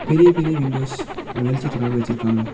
பெரிய பெரிய விண்டோஸ் வெளிச்சத்துக்காக வச்சிருக்காங்க.